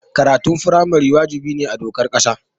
Karatun firamare wajibi ne a dokar ƙasa.